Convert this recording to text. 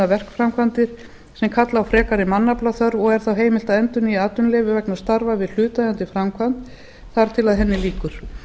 verkframkvæmdir sem kalla á frekari mannaflaþörf og er þá heimilt að endurnýja atvinnuleyfi vegna starfa við hlutaðeigandi framkvæmd þar til henni lýkur